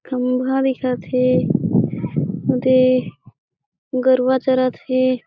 खम्भा दिखत हे दे गरुवा चरत हे।